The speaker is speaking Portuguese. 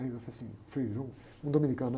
Aí eu falei assim, um, um dominicano, né?